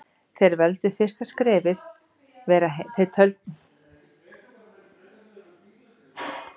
Þeir töldu fyrsta skrefið vera heimastjórn og vinsamlegt samband við Dani.